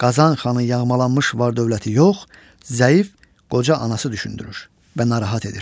Qazan xanı yağmalanmış var dövləti yox, zəif, qoca anası düşündürür və narahat edir.